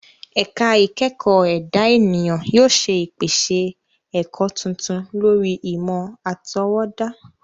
Ẹ̀ka ìkẹ́kọ̀ọ́ ẹ̀dá ènìyàn yóò ṣe ìpèsè ẹ̀kọ́ tuntun lórí ìmọ̀ àtọwọ́dá.